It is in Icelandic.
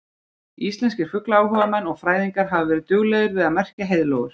Íslenskir fuglaáhugamenn og fræðingar hafa verið duglegir við að merkja heiðlóur.